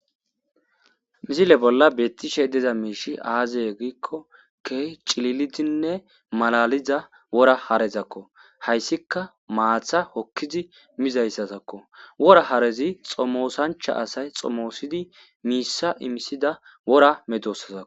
misile bolla beettishe deza miishi aaziye giikko ke cililidinne malaliza wora harezakko hayssika maatha hokkizi mizayssatakko wora harezi xomoosancha asay xomoosidi miissa imisida wora medossazako